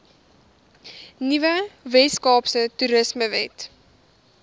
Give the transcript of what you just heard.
nuwe weskaapse toerismewet